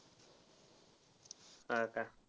होय का.